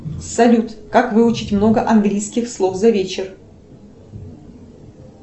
салют как выучить много английских слов за вечер